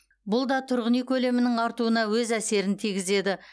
бұл да тұрғын үй көлемінің артуына өз әсерін тигізеді